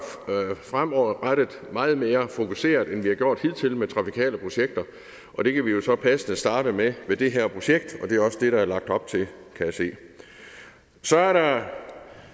meget mere fokuseret end vi har gjort hidtil med trafikale projekter og det kan vi jo så passende starte med ved det her projekt og det er også det se der er lagt op til så er der